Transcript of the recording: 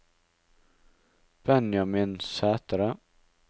Benjamin Sætre